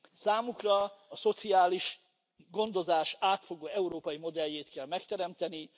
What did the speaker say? Számukra a szociális gondozás átfogó európai modelljét kell megteremteni.